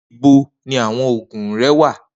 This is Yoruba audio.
Nibo ni awọn oogun rẹ wa?